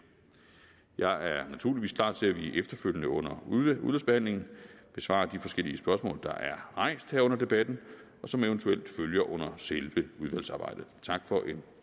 jeg er naturligvis klar til at vi efterfølgende under udvalgsbehandlingen besvarer de forskellige spørgsmål der er rejst her under debatten og som eventuelt følger under selve udvalgsarbejdet tak for en